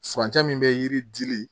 Furancɛ min bɛ yiri dili